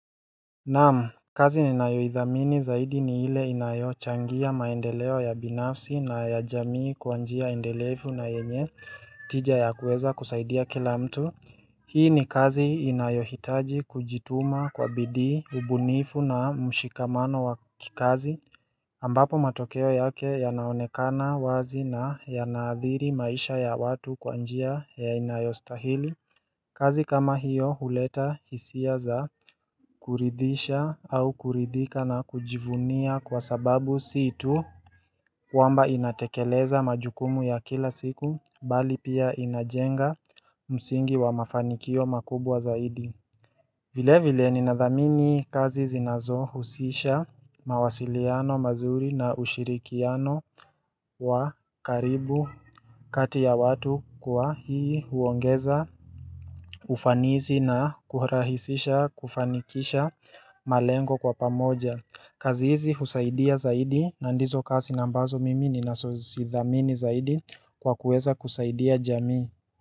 Naam, kazi ninayoidhamini zaidi ni ile inayochangia maendeleo ya binafsi na ya jamii kwa njia endelevu na yenye tija ya kuweza kusaidia kila mtu Hii ni kazi inayohitaji kujituma kwa bidii ubunifu na mshikamano wa kikazi ambapo matokeo yake yanaonekana wazi na yana adhiri maisha ya watu kwa njia ya inayostahili kazi kama hiyo huleta hisia za kuridhisha au kuridhika na kujivunia kwa sababu si tu kwamba inatekeleza majukumu ya kila siku bali pia inajenga msingi wa mafanikio makubwa zaidi vile vile ninadhamini kazi zinazohusisha mawasiliano mazuri na ushirikiano wa karibu kati ya watu kuwa hii huongeza ufanizi na kurahisisha kufanikisha malengo kwa pamoja. Kazi hizi husaidia zaidi na ndizo kazi na ambazo mimi ninasozidhamini zaidi kwa kuweza kusaidia jamii.